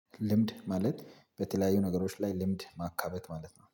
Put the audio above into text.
ልምድ ማለት በተለያዩ ነገሮች ላይ ልምድ ማካበት ማለት ነው